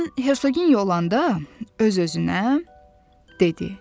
Mən Hersoginya olanda öz-özünə dedi.